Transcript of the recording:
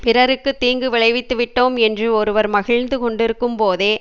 பிறருக்கு தீங்கு விளைவித்து விட்டோம் என்று ஒருவர் மகிழ்ந்து கொண்டிருக்கும்போதே